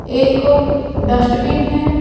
एक डस्टबिन है।